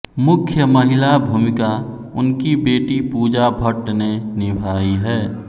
मुख्य महिला भूमिका उनकी बेटी पूजा भट्ट ने निभाई है